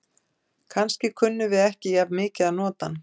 Kannski kunnum við ekki jafn mikið að nota hann.